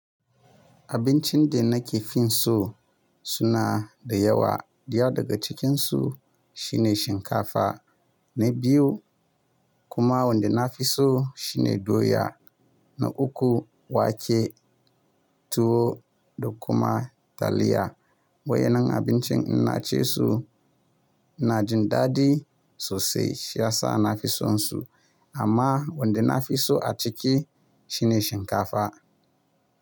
Abincin da nake fin so suna da yawa. Daya daga cikinsu shine shinkafa na biyu kuma wanda na fi so shine doya na uku, wake, tuwo da kuma taliya. Wayan nan abincin inna cisu ina jin daɗi sosai shi ya sa nafi son su. Amma wanda nafi so a ciki shine shinkafa.